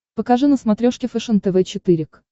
покажи на смотрешке фэшен тв четыре к